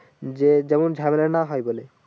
যে যেমন ঝামেলা না হয় বলে ।